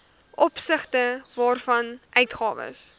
opsigte waarvan uitgawes